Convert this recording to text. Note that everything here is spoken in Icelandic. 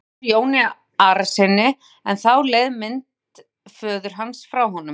Hann gekk nær Jóni Arasyni en þá leið mynd föður hans frá honum.